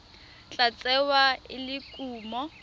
tla tsewa e le kumo